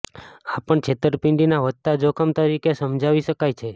આ પણ છેતરપિંડીના વધતા જોખમ તરીકે સમજાવી શકાય છે